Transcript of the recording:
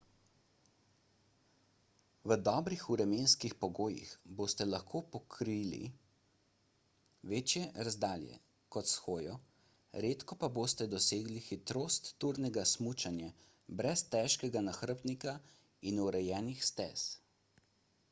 v dobrih vremenskih pogojih boste lahko pokrili večje razdalje kot s hojo – redko pa boste dosegli hitrost turnega smučanja brez težkega nahrbtnika in urejenih stez